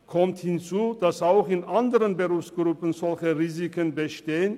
Es kommt hinzu, dass auch in anderen Berufsgruppen solche Risiken bestehen.